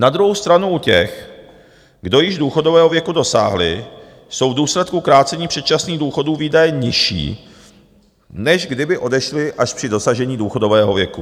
Na druhou stranu u těch, kdo již důchodového věku dosáhli, jsou v důsledku krácení předčasných důchodů výdaje nižší, než kdyby odešli až při dosažení důchodového věku.